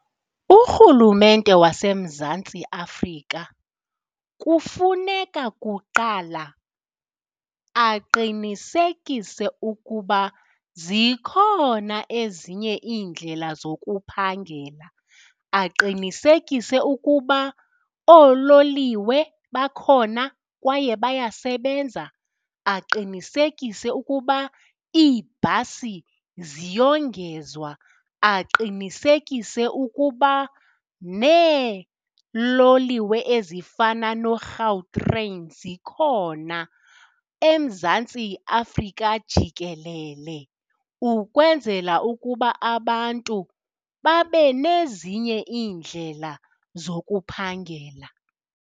Urhulumente waseMzantsi Afrika kufuneka kuqala aqinisekise ukuba zikhona ezinye iindlela zokuphangela, aqinisekise ukuba oololiwe bakhona kwaye bayasebenza. Aqinisekise ukuba iibhasi ziyongezwa, aqinisekise ukuba neeloliwe ezifana noGautrain zikhona eMzantsi Afrika jikelele ukwenzela ukuba abantu babe nezinye iindlela zokuphangela.